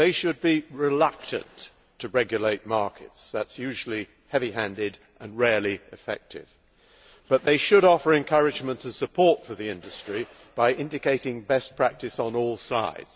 They should be reluctant to regulate markets that is usually heavy handed and rarely effective but they should offer encouragement and support to the industry by indicating best practice on all sides.